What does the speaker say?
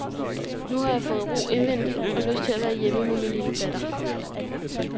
Nu har jeg fået ro indvendig og lyst til at være hjemme med min lille datter.